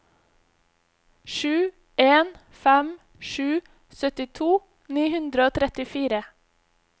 sju en fem sju syttito ni hundre og trettifire